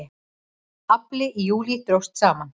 Afli í júlí dróst saman